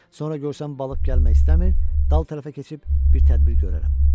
Sonra görsəm balıq gəlmək istəmir, dal tərəfə keçib bir tədbir görərəm.